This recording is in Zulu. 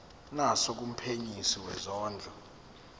naso kumphenyisisi wezondlo